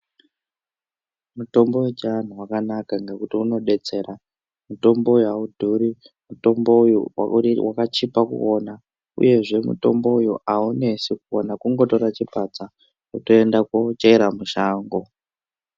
Mutombo wechianhu wakanaka ngekuti unodetsera mutombo uyu audhuri, mutombo uyu wakachipa kukuona uyezve mutombo uyu aunesi kukuona kungotora chipadza wotoenda koochera mushango.